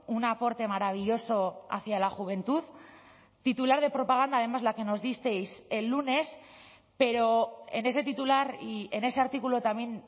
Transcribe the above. un aporte maravilloso hacia la juventud titular de propaganda además la que nos disteis el lunes pero en ese titular y en ese artículo también